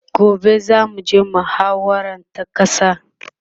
gobe zamu je muhawara ta ƙasa